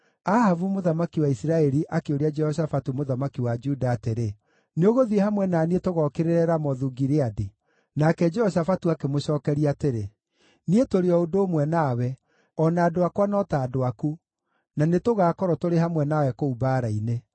Ahabu, mũthamaki wa Isiraeli akĩũria Jehoshafatu mũthamaki wa Juda atĩrĩ, “Nĩũgũthiĩ hamwe na niĩ tũgookĩrĩre Ramothu-Gileadi?” Nake Jehoshafatu akĩmũcookeria atĩrĩ, “Niĩ tũrĩ o ũndũ ũmwe nawe, o na andũ akwa no ta andũ aku; na nĩtũgaakorwo tũrĩ hamwe nawe kũu mbaara-inĩ”.